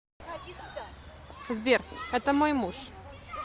сбер это мой муж